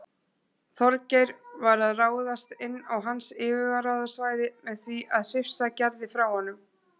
Þorgeir var að ráðast inn á hans yfirráðasvæði með því að hrifsa Gerði frá honum.